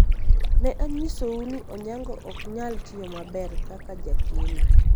ne anyisou ni Onyango ok nyal tiyo maber kaka jakeno